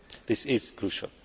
This is crucial.